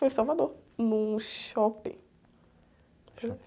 Foi em Salvador, num shopping.